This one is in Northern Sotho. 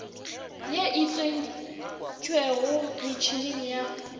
ye e tsentšwego metšheneng ya